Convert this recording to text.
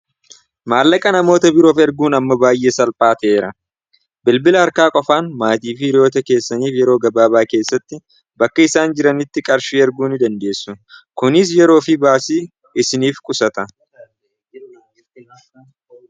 maallaqa namoota biroof erguun amma baay'ee salphaateera bilbila harkaa qofaan maatii fii ryoota keessaniif yeroo gabaabaa keessatti bakka isaan jiranitti qarshii erguun dandeessu kunis yeroo fi baasii isiniif qusata